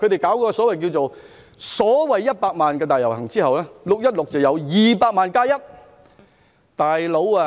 在舉行所謂100萬人大遊行後，在6月16日再舉行200萬加1人的遊行。